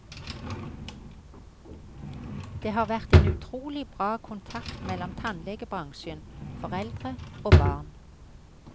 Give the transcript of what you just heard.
Det har vært en utrolig bra kontakt mellom tannlegebransjen, foreldre og barn.